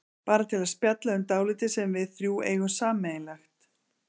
Bara til að spjalla um dálítið sem við þrjú eigum sameiginlegt.